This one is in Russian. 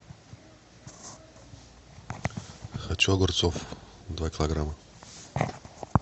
хочу огурцов два килограмма